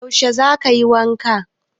Yaushe za kayi wanka?